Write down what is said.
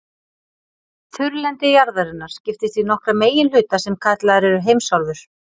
Þurrlendi jarðarinnar skiptist í nokkra meginhluta sem kallaðir eru heimsálfur.